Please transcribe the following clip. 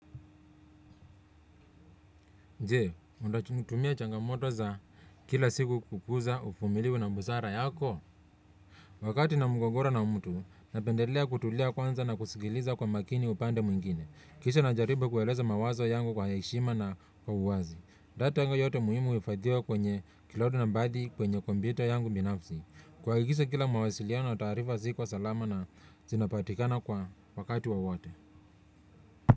Je, unatumia changamoto za kila siku kukuza uvumilivu na busara yako. Wakati na mgogoro na mtu, napendelea kutulia kwanza na kusigiliza kwa makini upande mwingine. Kisha na jaribu kueleza mawazo yangu kwa heshima na kwa uwazi. Data yangu yote muhimu uhifadhiwa kwenye cloud na baadhi kwenye kompyuta yangu binafsi. Kuhakikisha kila mawasiliano na taarifa ziko salama na zinapatikana kwa wakati wa wowote.